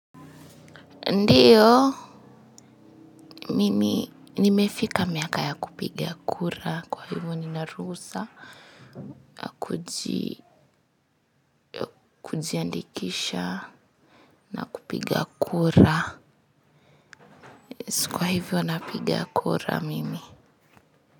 Ndio mimi nimefika miaka ya kupiga kura kwa hivyo nina ruhusa kujiandikisha na kupiga kura. Kwa hivyo napiga kura mimi.